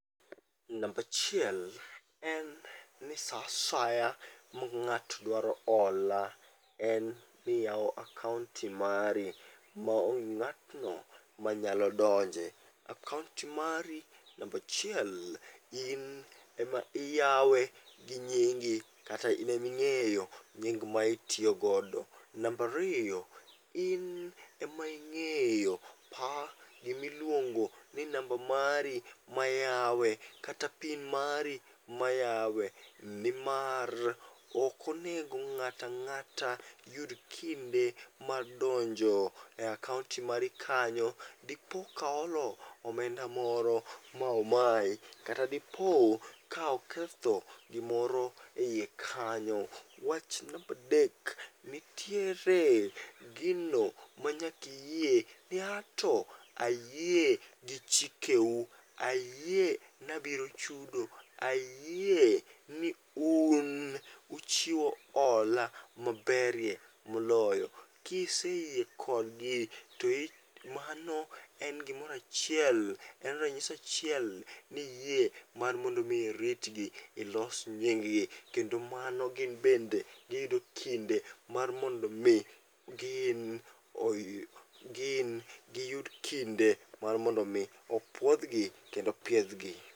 Nambachiel en ni sa asaya ma ng'ato dwaro hola en niyawo akaonti mari maonge ng'atno manyalo donje. Akaonti mari nambachiel in ema iyawe gi ngingi kata ineming'euo nying mitiyogodo. Nambariyo, in ema ing'eyo pa gimiluongo ni namba mari mayawe kata pin mari mayawe. Nimar okonego ng'atang'ata yud kinde mar donjo e akaonti mari kanyo, dipo ka oolo omenda moro ma omayi kata dipo ka oketho gimoro e iye kanyo. Wach nambadek, nitiere gino manyakiyie ni anto ayie gi chike u, ayie nabiro chudo ayie ni un uchiwo hola maberie moloyo. Kiseyie kodgi to i mano en gimorachiel, en ranyisi achiel niyie mar mondo mi iritgi, ilos nying gi. Kendo mano gin bende giyudo kinde mar mondo mi gin, gin giyud kinde mar mondo mi opudhgi kendo opiedhgi.